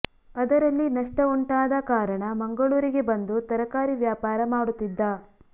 ಅದರಲ್ಲಿ ನಷ್ಟ ಉಂಟಾದ ಕಾರಣ ಮಂಗಳೂರಿಗೆ ಬಂದು ತರಕಾರಿ ವ್ಯಾಪಾರ ಮಾಡುತ್ತಿದ್ದ